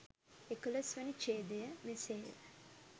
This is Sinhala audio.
එකොළොස් වැනි ඡේදය, මෙසේ ය.